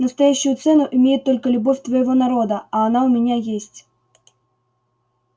настоящую цену имеет только любовь твоего народа а она у меня есть